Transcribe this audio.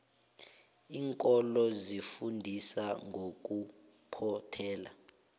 iinkolo zifundisa ngokuphothela